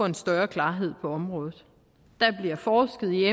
en større klarhed på området der bliver forsket i